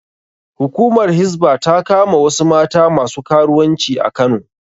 Hukumar Hisba ta kama wasu mata masu karuwanci a Kano